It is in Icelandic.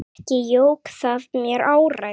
Ekki jók það mér áræði.